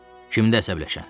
Kim də əsəbləşən?